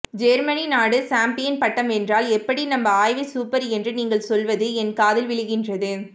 Germany நாடு champion பட்டம் வென்றால் எப்படி நம்ம ஆய்வு சூப்பர் என்று நீங்கள் சொல்வது என் காதில் விழுகின்றது